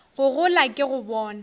go gola ke go bona